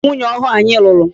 Ọ bụ nwunye ọhụụ anyị nụrụ.